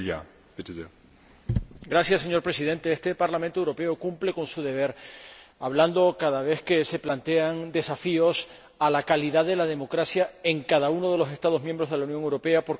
Señor Presidente, este Parlamento Europeo cumple con su deber de hablar cada vez que se plantean desafíos a la calidad de la democracia en cada uno de los Estados miembros de la Unión Europea, porque es un problema europeo.